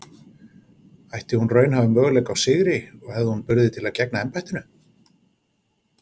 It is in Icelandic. Ætti hún raunhæfa möguleika á sigri og hefði hún burði til að gegna embættinu?